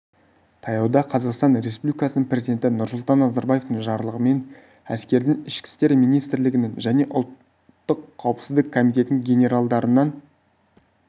таяуда қазақстан республикасының президенті нұрсұлтан назарбаевтың жарлығымен әскердің ішкі істер министрлігінің және ұлттық қауіпсіздік комитетінің генералдарынан